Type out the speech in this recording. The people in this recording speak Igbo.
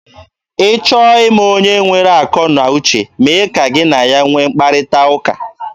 Ị chọọ ịma onye nwere akọ na uche, mee ka gị na ya nwee mkparịta ụka.